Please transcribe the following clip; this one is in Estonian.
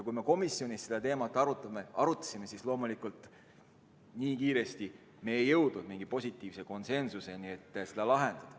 Kui me komisjonis seda teemat arutasime, siis loomulikult ei jõudnud me nii kiiresti konsensusele, et seda probleemi lahendada.